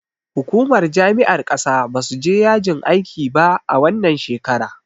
Hukumar jami'ar ƙasa basu je yajin aikiba a wannan shekara.